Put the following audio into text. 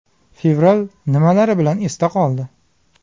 Fevral nimalari bilan esda qoldi?.